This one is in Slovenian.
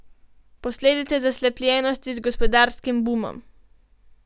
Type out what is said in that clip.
Posledica zaslepljenosti z gospodarskim bumom.